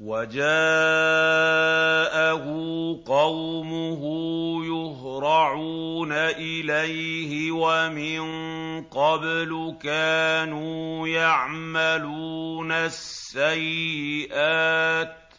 وَجَاءَهُ قَوْمُهُ يُهْرَعُونَ إِلَيْهِ وَمِن قَبْلُ كَانُوا يَعْمَلُونَ السَّيِّئَاتِ ۚ